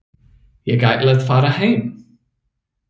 Ég ætla að fara heim.